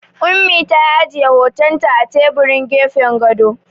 Ummi ta ajiye hotonta a teburin gefen gado.